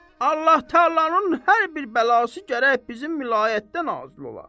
Allah təalanın hər bir bəlası gərək bizim vilayətdən nazil ola.